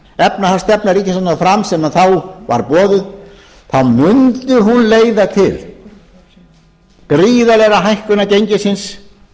efnahagsstefna ríkisstjórnarinnar fram sem þá var boðuð mundi hún leiða til gríðarlegrar hækkunar gengisins